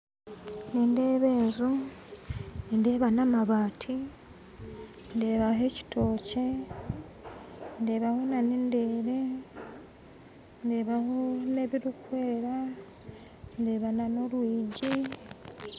Nindeeba enju nindeeba namabati ndeebaho ekitookye ndeebaho na nendeere ndeebaho n'ebirukwera ndeebaho n'orwigi